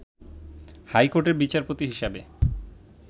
high কোর্টের বিচারপতি হিসাবে